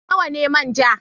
Nawa ne manja?